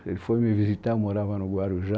Ele foi me visitar, eu morava no Guarujá,